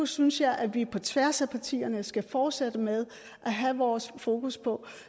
synes jeg at vi på tværs af partierne skal fortsætte med at have vores fokus på